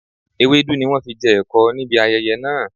Ewédú ni wọn fi jẹ ẹ̀kọ níbi ayẹyẹ náà